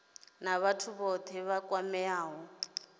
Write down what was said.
na vhathu vhothe vha kwameaho